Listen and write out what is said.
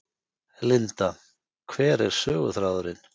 Linda: Hver er söguþráðurinn?